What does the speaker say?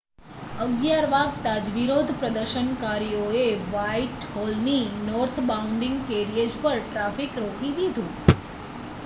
11:00 વાગતાજ વિરોધપ્રદર્શનકારીઓએ વાઇટહોલના નોર્થબોઉંડ કેરિએજ પર ટ્રાફિક રોકી દીધુ